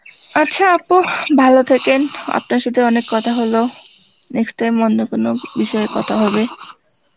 আচ্ছা আপু ভালো থেকেন, আপনার সথে অনেক কথা হলো, next time অন্য কোনো বিষয় কথা হবে